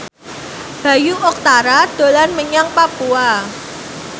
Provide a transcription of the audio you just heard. Bayu Octara dolan menyang Papua